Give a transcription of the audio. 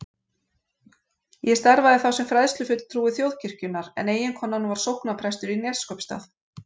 Ég starfaði þá sem fræðslufulltrúi Þjóðkirkjunnar en eiginkonan var sóknarprestur í Neskaupsstað.